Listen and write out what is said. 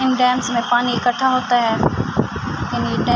ان dam مے پانی اکتها ہوتا ہے۔ ڈیم --